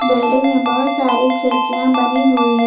Building में बहुत सारे खिड़कियां बनी हुई है।